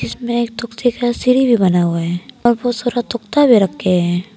इसमें एक का सीढ़ी भी बना हुआ है और बहुत सारा भी रखे है।